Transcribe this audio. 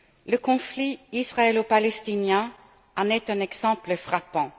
Le conflit israélo palestinien en est un exemple frappant.